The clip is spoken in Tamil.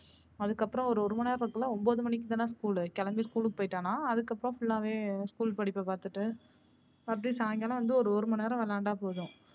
அதுக்கப்பறம் ஒரு ஒரு மணி நேரம் இருக்குள்ள ஒன்பது மணிக்கு தான school கிளம்பி school போயிட்டால்ன்னா அதுக்கு அப்பறம் full லா வே school படிப்ப பாத்துட்டு அப்படி சாயங்காலம் வந்து ஒரு ஒரு மணி நேரம் விளையாண்டா போதும்.